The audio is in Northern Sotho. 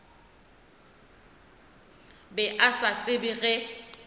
be a sa tsebe ge